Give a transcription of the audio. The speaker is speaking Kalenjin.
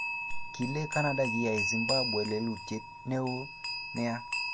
kale canada kiyai zimbabwe lelutiet newon nea